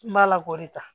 N b'a la k'o de ta